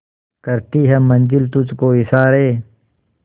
करती है मंजिल तुझ को इशारे